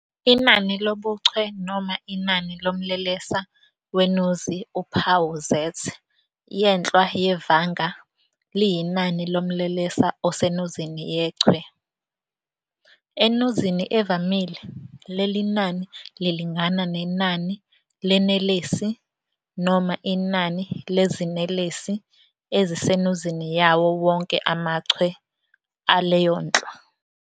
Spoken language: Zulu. Inani lobuchwe noma inani lomlelesa wenuzi, uphawu Z yenhlwa yevanga liyinani lomlelesa osenuzini yechwe. Enuzini evamile, leli nani lilingana nenani lenelesi noma inani lezinelesi ezisenuzini yawo wonke amachwe aleyonhlwa.